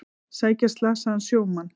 Sækja slasaðan sjómann